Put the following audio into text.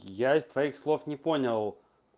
я из твоих слов не понял